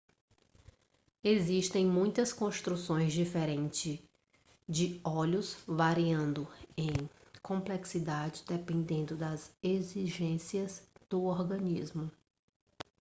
existem muitas construções diferentes de olhos variando em complexidade dependendo das exigências do organismo